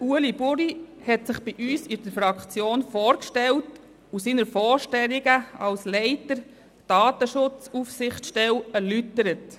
Ueli Buri hat sich bei uns in der Fraktion vorgestellt und seine Vorstellungen als Leiter der Datenschutzaufsichtsstelle erläutert.